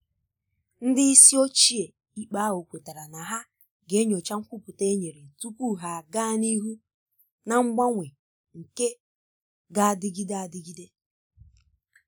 ndị isi ochie ikpe ahụ kwetara na ha ga enyocha nkwupụta e nyere tupu ha aga n'ihu na mgbanwe nke g'adịgide adịgide.